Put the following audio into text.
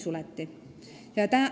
] liin suleti.